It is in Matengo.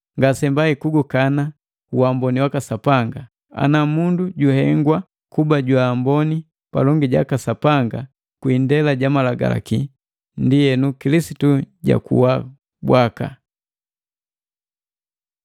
Ngasembai kugukana uamboni waka Sapanga. Ana mundu juhengwa kuba jwa amboni palongi jaka Sapanga kwii indela ja Malagalaki, ndienu Kilisitu jakuwa bwaka!